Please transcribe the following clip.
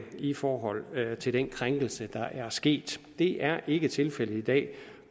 i forhold til den krænkelse der er sket det er ikke tilfældet i dag